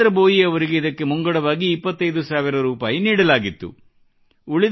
ಜಿತೇಂದ್ರ ಭೋಯಿ ಅವರಿಗೆ ಇದಕ್ಕೆ ಮುಂಗಡವಾಗಿ ಇಪ್ಪತ್ತೈದು ಸಾವಿರ ರೂಪಾಯಿ ನೀಡಲಾಗಿತ್ತು